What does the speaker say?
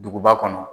Duguba kɔnɔ